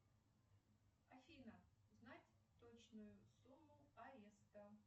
афина узнать точную сумму ареста